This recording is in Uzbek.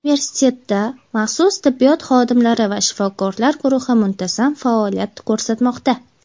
Universitetda maxsus tibbiyot xodimlari va shifokorlar guruhi muntazam faoliyat ko‘rsatmoqda.